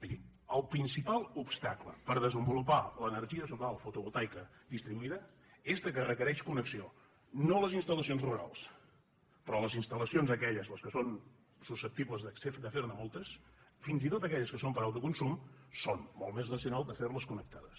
miri el principal obstacle per desenvolupar l’energia solar fotovoltaica distribuïda és que requereix conne·xió no les instal·lacions rurals però les instal·lacions aquelles les que són susceptibles de fer·ne moltes fins i tot aquelles que són per a autoconsum és molt més racional de fer·les connectades